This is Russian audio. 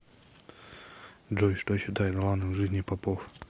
джой что считает главным в жизни попов